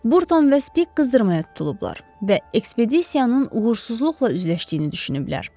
Burton və Spik qızdırmaya tutulublar və ekspedisiyanın uğursuzluqla üzləşdiyini düşünüblər.